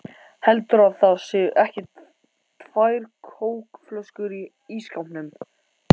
HELDURÐU AÐ ÞAÐ SÉU EKKI TVÆR KÓKFLÖSKUR Í ÍSSKÁPNUM!